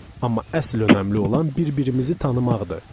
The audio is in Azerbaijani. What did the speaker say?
Amma əsl önəmli olan bir-birimizi tanımaqdır.